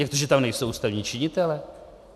Jak to, že tam nejsou ústavní činitelé?